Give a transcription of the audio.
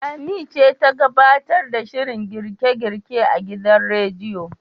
Lami ce ta gabtar da shirin girke-girke a gidan radiyon.